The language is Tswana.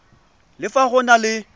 le fa go na le